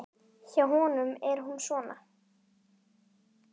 Hjá honum er hún svona